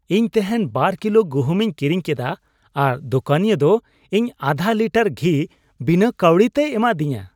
ᱤᱧ ᱛᱮᱦᱮᱧ ᱒ ᱠᱤᱞᱳ ᱜᱩᱦᱩᱢᱤᱧ ᱠᱤᱨᱤᱧ ᱠᱮᱫᱟ ᱟᱨ ᱫᱚᱠᱟᱱᱤᱭᱟᱹ ᱫᱚ ᱤᱧ ᱟᱫᱷᱟ ᱞᱤᱴᱟᱨ ᱜᱷᱤ ᱵᱤᱱᱟᱹ ᱠᱟᱹᱣᱰᱤᱛᱮᱭ ᱮᱢᱟᱫᱤᱧᱟ ᱾